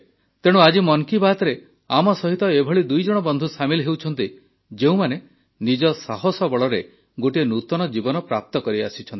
ତେଣୁ ଆଜି ମନ୍ କି ବାତ୍ରେ ଆମ ସହିତ ଏଭଳି ଦୁଇଜଣ ବନ୍ଧୁ ସାମିଲ ହେଉଛନ୍ତି ଯେଉଁମାନେ ନିଜ ସାହସ ବଳରେ ଗୋଟିଏ ନୂତନ ଜୀବନ ପ୍ରାପ୍ତ କରିଆସିଛନ୍ତି